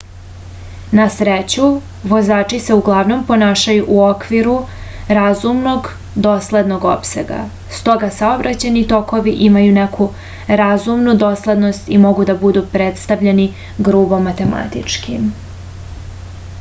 na sreću vozači se uglavnom ponašaju u okviru razumnog doslednog opsega stoga saobraćajni tokovi imaju neku razumnu doslednost i mogu da budu predstavljeni grubo matematički